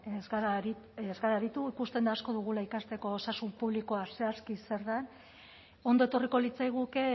ez gara aritu ikusten da asko dugula ikasteko osasun publikoa zehazki zer den ondo etorriko litzaiguke